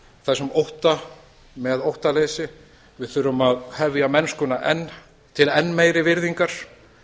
þessum ótta með óttaleysi við þurfum að hefja mennskuna til enn meiri virðingar